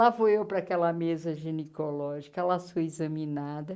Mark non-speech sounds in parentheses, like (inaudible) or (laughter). Lá foi eu para aquela mesa genicológica, ela (unintelligible) examinada.